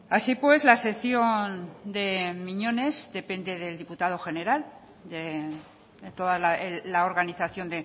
así pues la sección de miñones depende del diputado general de toda la organización